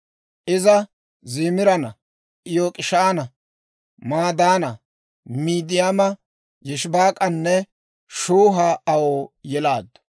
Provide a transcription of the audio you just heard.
Iza Ziimiraana, Yok'ishaana, Madaana, Midiyaama, Yishibaak'anne Shuha aw yelaaddu.